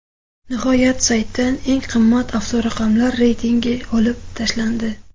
Nihoyat, saytdan eng qimmat avtoraqamlar reytingi olib tashlandi.